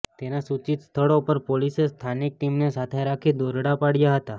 તેના સૂચિત સ્થળો પર પોલીસે સ્થાનિક ટીમને સાથે રાખી દરોડા પાડયા હતા